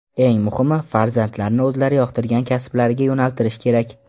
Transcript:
Eng muhimi, farzandlarni o‘zlari yoqtirgan kasblariga yo‘naltirish kerak.